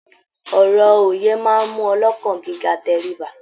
Ọ̀rọ̀ òye máa mú ọlọ́kàn gíga tẹríba.